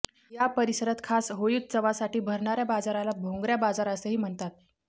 या परिसरात खास होळीउत्सवासाठी भरणाऱ्या बाजाराला भोंगऱ्या बाजार असेही म्हणतात